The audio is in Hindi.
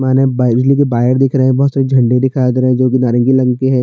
माने बाय बिजली के बायर दिख रहे है बहोत से झंडे दिखाई दे रहा है जो कि नारंगी रंग के है।